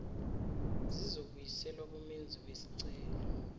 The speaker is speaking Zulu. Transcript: zizobuyiselwa kumenzi wesicelo